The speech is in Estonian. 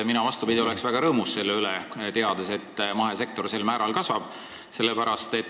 Mina, vastupidi, oleks väga rõõmus selle teadmise üle, et mahesektor sel määral kasvab.